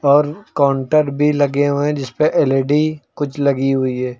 और काउंटर भी लगे हुए हैं जिसपे एल_ई_डी कुछ लगी हुई है।